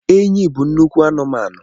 Enyí bụ nnukwu anụmanụ